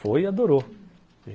Foi e adorou.